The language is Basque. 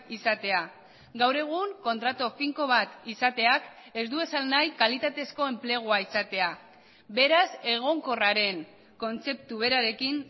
izatea gaur egun kontratu finko bat izateak ez du esan nahi kalitatezko enplegua izatea beraz egonkorraren kontzeptu berarekin